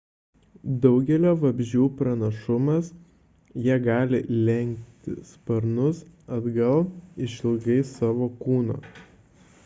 daugelio vabzdžių pranašumas – jie gali lenkti sparnus atgal išilgai savo kūno